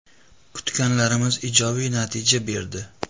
Kutganlarimiz ijobiy natija berdi.